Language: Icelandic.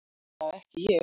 Allavega ekki ég.